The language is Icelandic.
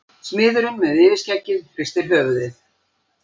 Smiðurinn með yfirskeggið hristir höfuðið.